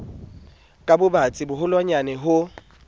ka bobatsi bo boholwanyane ho